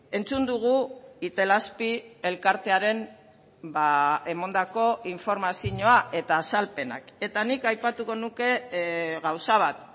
entzun dugu itelazpi elkartearen emandako informazioa eta azalpenak eta nik aipatuko nuke gauza bat